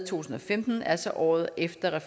tusind og femten altså året efter